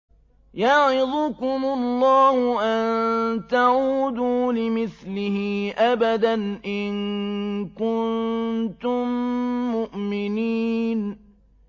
يَعِظُكُمُ اللَّهُ أَن تَعُودُوا لِمِثْلِهِ أَبَدًا إِن كُنتُم مُّؤْمِنِينَ